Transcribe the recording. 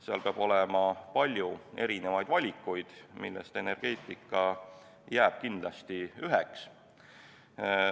Seal peab olema palju erinevaid valikuid, millest üks oleks kindlasti energeetika.